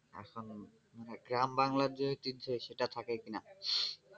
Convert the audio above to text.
এখন গ্রাম বাংলার যে চিত্র সেটা থাকে কিনা?